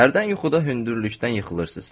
Hərdən yuxuda hündürlükdən yıxılırsınız.